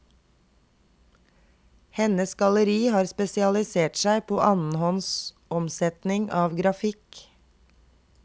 Hennes galleri har spesialisert seg på annenhåndsomsetning av grafikk.